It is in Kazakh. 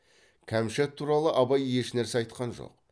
кәмшат туралы абай ешнәрсе айтқан жоқ